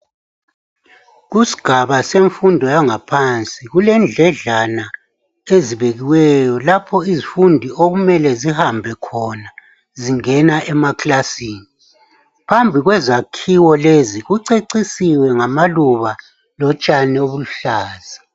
Kusigaba semfundo yangaphansi kulendledlana ezibekiweyo lapho izifundi okumele zihambe khona zingena emakilasini. Phambi kwezakhiwo lezi kucecisiwe ngamaluba lotshani obuluhlaza.